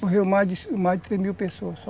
Morreram mais de mais de três mil pessoas só.